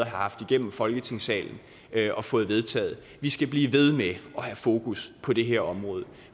haft igennem folketingssalen og fået vedtaget vi skal blive ved med at have fokus på det her område